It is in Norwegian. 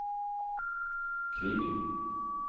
Kviby